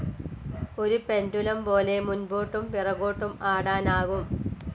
ഒരു പെണ്ടുലും പോലെ മുൻപോട്ടും പിറകോട്ടും ആടാൻ ആകും.